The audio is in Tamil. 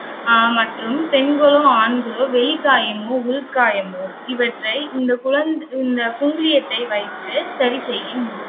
ஆஹ் மற்றும் பெண்களோ, ஆண்களோ வெளிக்காயமோ, உள்காயமோ இவற்றை இந்த குழ~ இந்த குங்குலியத்தை வைத்து சரி செய்யும்